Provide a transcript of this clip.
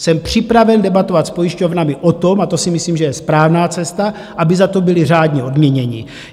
Jsem připraven debatovat s pojišťovnami o tom - a to si myslím, že je správná cesta - aby za to byli řádně odměněni.